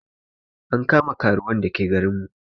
An kama karuwan da ke garin mu